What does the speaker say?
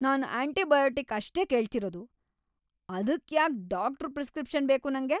ನಾನ್‌ antibiotic ಅಷ್ಟೇ ಕೇಳ್ತಿರೋದು! ಅದುಕ್ಯಾಕ್‌ ಡಾಕ್ಟ್ರು ಪ್ರಿಸ್ಕ್ರಿಪ್ಷನ್ ಬೇಕು ನಂಗೆ?